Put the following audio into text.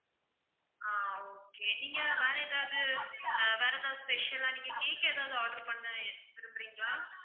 ஆஹ் okay நீங்க வேற ஏதாவது ஆஹ் வேற ஏதாவது special ஆ நீங்க cake ஏதாவது order பண்ண விரும்புறீங்களா?